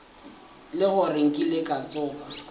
le gore nkile ka tsoga